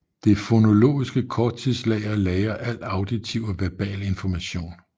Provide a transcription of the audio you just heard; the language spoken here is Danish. Det fonologiske korttidslager lagrer al auditiv og verbal information